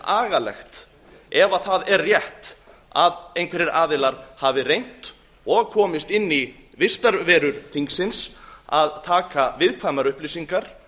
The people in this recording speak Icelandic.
agalegt ef það er rétt að einhverjir aðilar hafi reynt og komist inn í vistarverur þingsins að taka viðkvæmar upplýsingar